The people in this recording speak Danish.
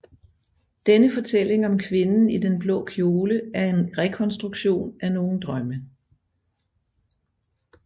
Denne fortælling om kvinden i den blå kjole er en rekonstruktion af nogle drømme